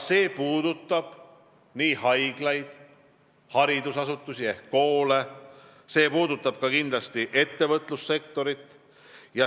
See puudutaks haiglaid ja haridusasutusi ehk koole, kindlasti ka ettevõtlussektorit.